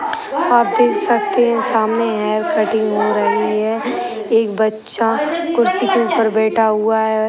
आप देख सकते हैं सामने हेयर कटिंग हो रही है एक बच्चा कुर्सी के ऊपर बैठा हुआ है।